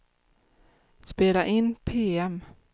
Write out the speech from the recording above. spela in PM